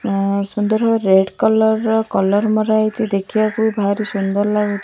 ଆଁ ସୁନ୍ଦର red colour ର କଲର୍ ମରାହେଇଚି ଦେଖିବାକୁ ଭାରି ସୁନ୍ଦର୍ ଲାଗୁଚ୍ --